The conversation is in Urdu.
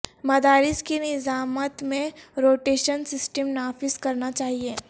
مدارس کی نظامت میں روٹیشن سسٹم نافذ کرنا چاہئے